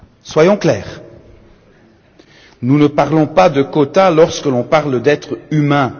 Soyons clairs, nous ne parlons pas de quotas lorsqu'on parle d'êtres humains.